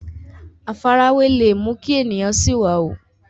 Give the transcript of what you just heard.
àfarawé le mú kí èèyàn sìwàwù